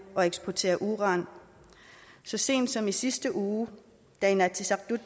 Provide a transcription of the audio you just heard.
og eksportere uran så sent som i sidste uge da inatsisartut